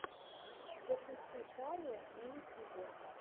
запусти шария на ютюбе